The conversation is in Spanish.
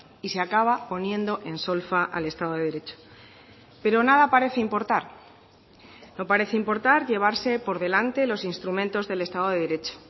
y se acaba poniendo en solfa al estado de derecho pero nada parece importar no parece importar llevarse por delante los instrumentos del estado de derecho